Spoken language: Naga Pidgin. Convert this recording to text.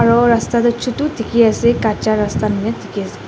rasta tho chutu tiki ase kacha rasta tiki ase.